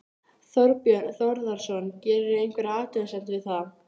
Björn: Og hvernig heilsast honum núna?